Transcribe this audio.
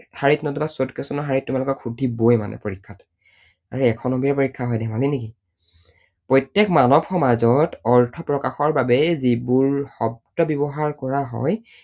শাৰীত নতুবা short question ৰ শাৰীত তোমালোকক শুধিবই মানে পৰীক্ষাত। আৰু এশ নম্বৰীয়া পৰীক্ষা হয়, ধেমালি নেকি? প্ৰত্যেক মানৱ সমাজত অৰ্থ প্ৰকাশৰ বাবে যিবোৰ শব্দ ব্যৱহাৰ কৰা হয়